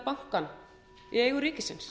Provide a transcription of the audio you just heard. landsbyggðarbanka í eigu ríkisins